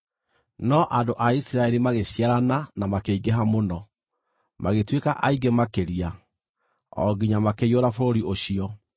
no andũ a Isiraeli magĩciarana na makĩingĩha mũno, magĩtuĩka aingĩ makĩria, o nginya makĩiyũra bũrũri ũcio.